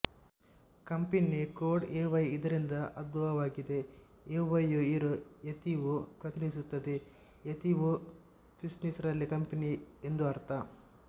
company code AY ಇದರಿಂದ ಉದ್ಭವವಾಗಿದೆ ಎವೈಯು ಏರೋ ಯತಿಒ ಪ್ರತಿನಿಧಿಸುತ್ತದೆ ಯತಿಒ ಫಿನ್ನಿಶ್ ರಲ್ಲಿ ಕಂಪನಿ ಎಂದು ಅರ್ಥ